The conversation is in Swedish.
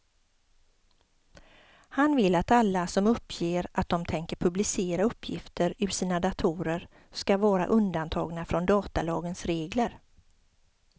Han vill att alla som uppger att de tänker publicera uppgifter ur sina datorer ska vara undantagna från datalagens regler.